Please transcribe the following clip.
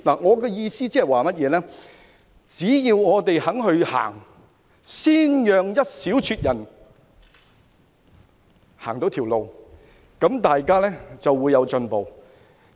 我的意思是，只要我們向前邁進，先讓部分人走這條路，大家便會有進步。